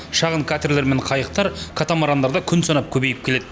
шағын катерлер мен қайықтар катамарандар да күн санап көбейіп келеді